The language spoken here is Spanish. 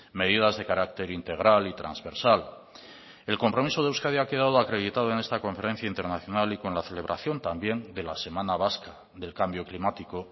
medidas de carácter integral y transversal el compromiso de euskadi ha quedado acreditado en esta conferencia internacional y con la celebración también de la semana vasca del cambio climático